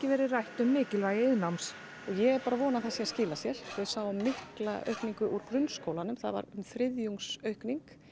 verið rætt um mikilvægi iðnnáms og ég er bara að vona að það sé að skila sér við sáum mikla aukningu úr grunnskólanum það var um þriðjungs aukning